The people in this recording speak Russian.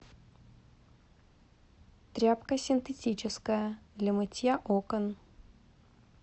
тряпка синтетическая для мытья окон